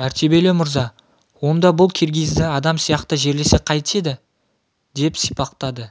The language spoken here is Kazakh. мәртебелі мырза онда бұл киргизді адам сияқты жерлесек қайтеді деп сипақтады